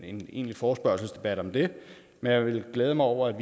en egentlig forespørgselsdebat om det men jeg vil glæde mig over